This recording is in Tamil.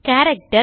கேரக்டர்